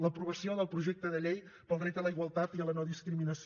l’aprovació del projecte de llei pel dret a la igualtat i a la no discriminació